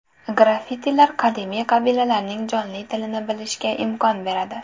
Graffitilar qadimiy qabilalarning jonli tilini bilishga imkon beradi.